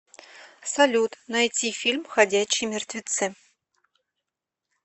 салют найти фильм ходячие мертвецы